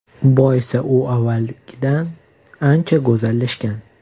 Boisi u avvalgidan ancha go‘zallashgan.